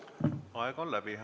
Aeg on läbi.